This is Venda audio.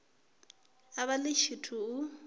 a vha ḽi tshithu u